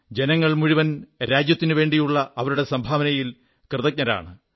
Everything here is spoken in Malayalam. ജനങ്ങൾ മുഴുവൻ രാജ്യത്തിനുവേണ്ടിയുള്ള അവരുടെ സംഭാവനയിൽ കൃതജ്ഞരാണ്